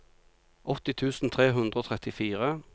åtti tusen tre hundre og trettifire